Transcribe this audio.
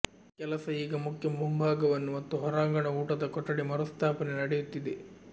ಕೆಲಸ ಈಗ ಮುಖ್ಯ ಮುಂಭಾಗವನ್ನು ಮತ್ತು ಹೊರಾಂಗಣ ಊಟದ ಕೊಠಡಿ ಮರುಸ್ಥಾಪನೆ ನಡೆಯುತ್ತಿದೆ